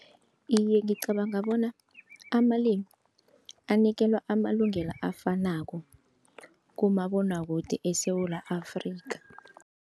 Iye, ngicabanga bona amalimi anikelwa amalungelo afanako kumabonwakude eSewula Afrika.